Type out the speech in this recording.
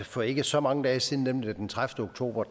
for ikke så mange dage siden nemlig den tredivete oktober